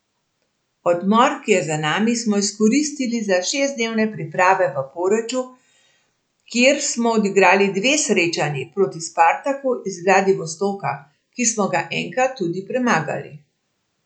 Odmor, ki je za nami, smo izkoristili za šestdnevne priprave v Poreču, kjer smo odigrali dve srečanji proti Spartaku iz Vladivostoka, ki smo ga enkrat tudi premagali.